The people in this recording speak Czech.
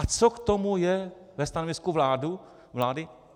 A co k tomu je ve stanovisku vlády?